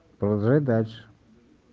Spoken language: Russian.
продолжать дальше